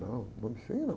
Não, nome feio não.